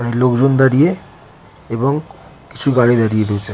অনেক লোকজন দাঁড়িয়ে এবং কিছু গাড়ি দাঁড়িয়ে রয়েছে।